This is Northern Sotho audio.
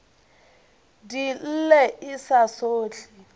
di lle e sa sohle